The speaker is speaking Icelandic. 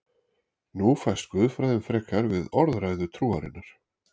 Nú fæst guðfræðin frekar við orðræðu trúarinnar.